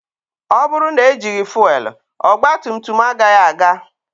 Ọ bụrụ na ejighi fuelu, ogba tum tum agaghị aga